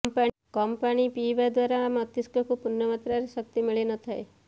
କମ୍ ପାଣି ପିଇବା ଦ୍ୱାରା ମସ୍ତିଷ୍କକୁ ପୂର୍ଣ୍ଣ ମାତ୍ରାରେ ଶକ୍ତି ମିଳି ନ ଥାଏ